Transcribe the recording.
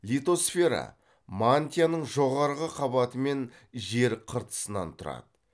литосфера мантияның жоғарғы қабаты мен жер қыртысынан тұрады